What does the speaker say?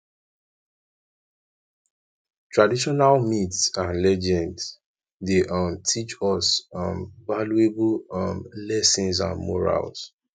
traditonal myths and legends dey um teach us um valuable um lessons and morals